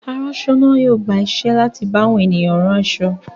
Aránṣọ náà yóò gba iṣẹ́ láti bá àwọn ènìyàn rán aṣọ.